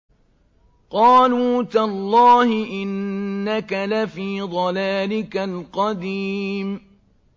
قَالُوا تَاللَّهِ إِنَّكَ لَفِي ضَلَالِكَ الْقَدِيمِ